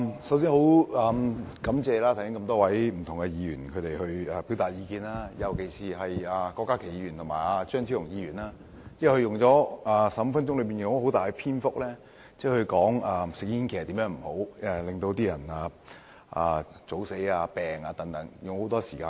首先感謝剛才表達意見的多位議員，尤其是郭家麒議員和張超雄議員，他們在15分鐘內，花了很大篇幅說明吸煙的壞處，例如令人提早死亡或生病等。